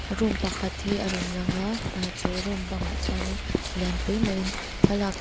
room pakhat hi a rawn lang a aa chu room bangah chuanin lian pui maiin thlalak chi --